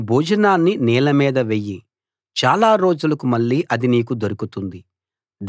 నీ భోజనాన్ని నీళ్ల మీద వెయ్యి చాలా రోజులకు మళ్ళీ అది నీకు దొరుకుతుంది